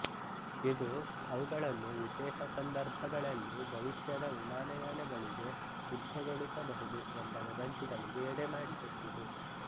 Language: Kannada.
ಇದು ಅವುಗಳನ್ನು ವಿಶೇಷ ಸಂದರ್ಭಗಳಲ್ಲಿ ಭವಿಷ್ಯದ ವಿಮಾನಯಾನಗಳಿಗೆ ಸಿದ್ಧಗೊಳಿಸಬಹುದು ಎಂಬ ವದಂತಿಗಳಿಗೆ ಎಡೆಮಾಡಿಕೊಟ್ಟಿತು